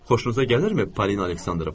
Xoşunuza gəlirmi, Polina Aleksandrovna?